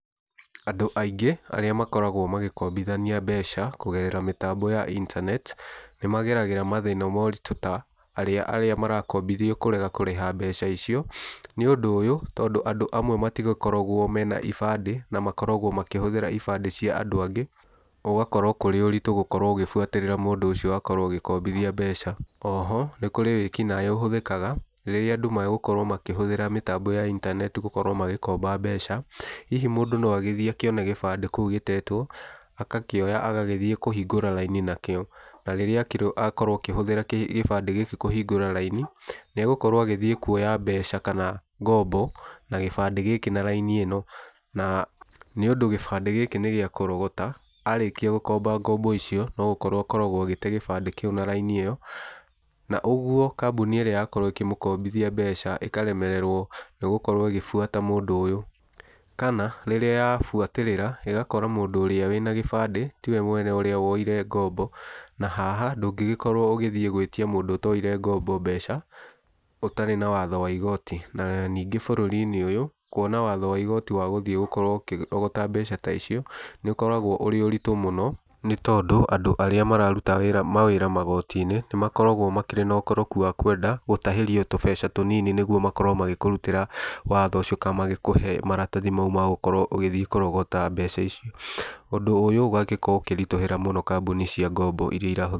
Andũ aingĩ arĩa makoragwo magĩkombithania mbeca kũgerera mĩtambo ya internet nĩ mageragĩra mathĩna ma ũritũ ta arĩa marakombithio kũrega kũrĩha mbeca icio. Nĩ ũndũ ũyũ tondũ andũ amwe matigĩkoragwo mena ibande na makoragwo makĩhũthĩra ibande cia andũ angĩ, ũgakora kũrĩ ũritũ gũkorwo ũgĩbuatĩrĩra mũndũ ũcio wakorwo ũgĩkombithia mbeca. Oho nĩ kũrĩ wĩkinaĩ wĩkĩkaga rĩrĩa andũ megũkorwo makĩhũthĩra mĩtambo ya internet gũkorwo magĩkomba mbeca. Hihi mũndũ no agĩthiĩ akĩone gĩbande kũu gĩtetwo, agakĩoya agathiĩ kũhingũra raini nakĩo. Na rĩrĩa akorwo akĩhũthĩra kĩbandĩ gĩkĩ kũhingũra raini, nĩ egũkorwo agĩthiĩ kuoya mbeca kana ngombo na kĩbandĩ gĩkĩ na raini ĩno. Na nĩ ũndũ kĩbandĩ gĩkĩ nĩ gĩa kũrogota, arĩkia gũkomba ngombo icio, no gũkorwo akoragwo agĩte kĩbandĩ kĩu na raini ĩyo. Na ũguo kambuni ĩrĩa yakorwo ĩkĩmũkombithia mbeca ĩkaremererwo nĩ gũkorwo ĩgĩbuata mũndũ ũyũ. Kana rĩrĩa yabuatĩrĩra ĩgakora mũndũ ũrĩa wĩna kĩbandĩ tiwe mwene ũrĩa woire ngombo. Na haha ndũngĩgĩkorwo ũgĩthiĩ gwĩtia mũndũ ũtoire ngombo mbeca ũtarĩ na watho wa igooti. Na ningĩ bũrũri-inĩ ũyũ kuona watho wa igooti wa gũkorwo ũgĩthiĩ kũrogota mbeca ta icio nĩ ũkoragwo ũrĩ ũritũ mũno nĩ tondũ andũ arĩa mararuta wĩra magooti-inĩ nĩ makoragwo makĩrĩ na ũkoroku wa kwenda gũtahĩrio tũbeca tũnini nĩguo makorwo magĩkũrutĩra watho ũcio kana magĩkũhe maratathi mau ma gukorwo ũgĩthiĩ kũrogota mbeca icio. Ũndũ ũyũ ũgagĩkorwo ũkĩritũhĩra mũno kambuni cia ngombo irĩa iraho...